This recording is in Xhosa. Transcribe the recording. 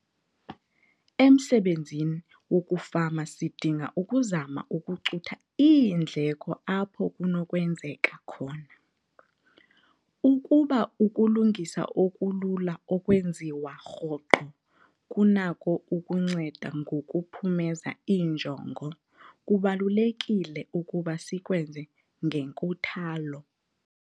Emsebenzini wokufama sidinga ukuzama ukucutha iindleko apho kunokwenzeka khona, ukuba ukulungisa okulula okwenziwa rhoqo kunako ukunceda ngokuphumeza injongo, kubalulekile ukuba sikwenze ngenkuthalo.